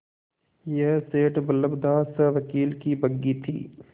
यह सेठ बल्लभदास सवकील की बग्घी थी